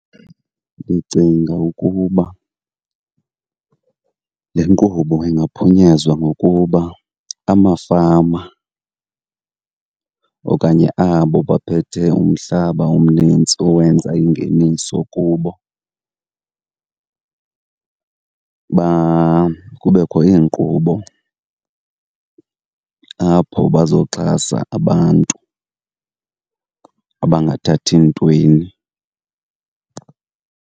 Ndicinga ukuba le nkqubo ingaphunyezwa ngokuba amafama okanye abo baphethe umhlaba omnintsi owenza ingeniso kubo , kubekho iinkqubo apho bazoxhasa abantu abangathathi ntweni.